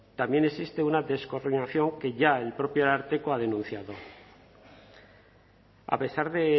también existe una descoordinación que ya el propio ararteko ha denunciado a pesar de